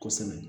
Kosɛbɛ